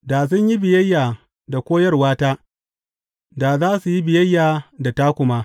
Da sun yi biyayya da koyarwata, da za su yi biyayya da taku ma.